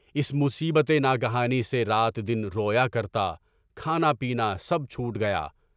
اس مصیبت ناگہانی سے رات دن رویا کرتا، کھانا پینا سب چھوٹ گیا۔